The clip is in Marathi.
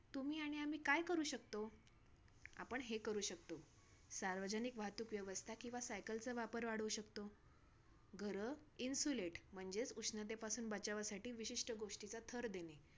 शकतो. आपण हे करू शकतो. सार्वजनिक वाहतूक व्यवस्था किंवा सायकलचा वापर वाढवू शकतो. घरं insulate म्हणजेच उष्णतेपासून बचावासाठी विशिष्ट गोष्टीचा थर देणे.